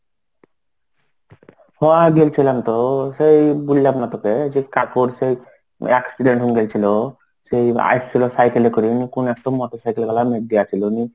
হ গেলছিলাম তো. সেই বুললাম না তোকে সেই কাকুর সেই accident হয়ে গেছিল. সেই আইসছিল cycle এ করে কোন একটা motorcycle ওয়ালা মেরে দেওয়া ছিল নিয়ে,